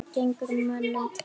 Hvað gengur mönnum til?